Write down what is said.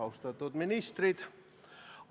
Austatud ministrid!